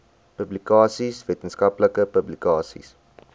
publikasies wetenskaplike publikasies